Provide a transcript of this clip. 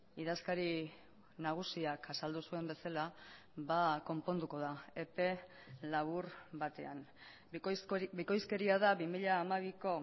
idazkari nagusiak azaldu zuen bezala konponduko da epe labur batean bikoizkeria da bi mila hamabiko